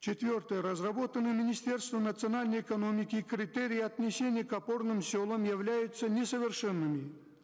четвертое разработанные министерством национальной экономики критерии отнесения к опорным селам являются несовершенными